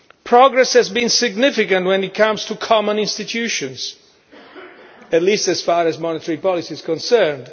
Progress has been significant when it comes to common institutions, at least as far as monetary policy is concerned.